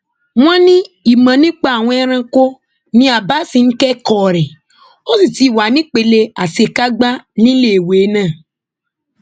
wọn ní ìmọ nípa àwọn ẹranko ni abasi ń kẹkọọ rẹ ó sì ti wà nípele àṣekágbá níléèwé náà